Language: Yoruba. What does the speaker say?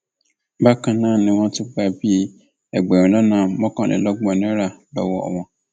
bákan náà ni wọn tún gbà bíi ẹgbẹrún lọnà mọkànlélọgbọn náírà lọwọ wọn